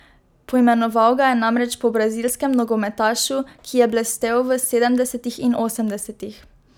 Poimenoval ga je namreč po brazilskem nogometašu, ki je blestel v sedemdesetih in osemdesetih.